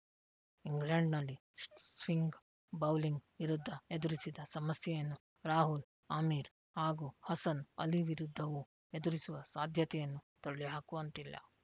ಇಂಗ್ಲೆಂಡ್‌ನಲ್ಲಿ swing bowling ವಿರುದ್ಧ ಎದುರಿಸಿದ ಸಮಸ್ಯೆಯನ್ನು ರಾಹುಲ್‌ ಆಮೀರ್‌ ಹಾಗೂ ಹಸನ್‌ ಅಲಿ ವಿರುದ್ಧವೂ ಎದುರಿಸುವ ಸಾಧ್ಯತೆಯನ್ನು ತಳ್ಳಿಹಾಕುವಂತಿಲ್ಲ